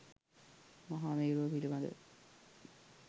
මහා මේරුව පිළිබඳව